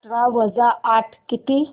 अठरा वजा आठ किती